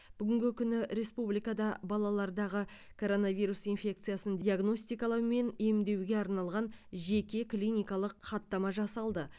бүгінгі күні республикада балалардағы коронавирус инфекциясын диагностикалау мен емдеуге арналған жеке клиникалық хаттама жасалды